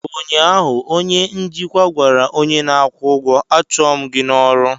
ụnyaahụ, onye njikwa gwara onye na-akwụ ụgwọ, a chụọ m gị n'ọrụ!